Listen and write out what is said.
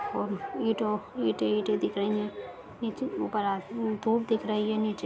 और ईटों ईंटें-ईंटें दिख रही हैं नीचे ऊपर आते धूप दिख रही है नीचे।